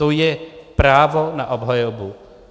To je právo na obhajobu.